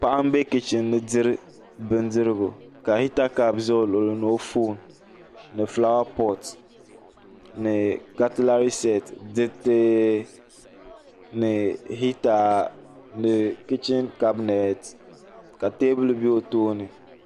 Paɣi n bɛ kichini n diri bin dirigu ka hita kaapi ʒi o luɣuli ni o foon ni fulaawa poti ni katilari seeti diriti ni hita kichin kabineti ka teebuli bɛ o tooni